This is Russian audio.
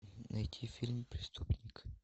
найти фильм преступник